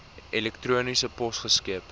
elektroniese pos geskep